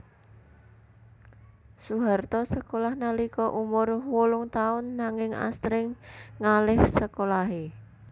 Soeharto sekolah nalika umur wolung taun nanging asring ngaléh sekolahé